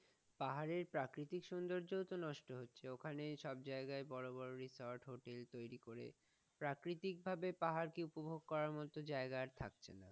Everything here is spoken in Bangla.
পাহাড়ের প্রাকৃতিক সৌন্দর্যতো নষ্ট হচ্ছে, ঐখানে সব যায়গায় রিচার্ড হোটেল তৈরি করে, প্রাকৃতিক ভাবে পাহাড়কে উপভোগ করার মত যায়গা আর থাকছে না।